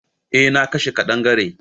Eh na kashe kadangare.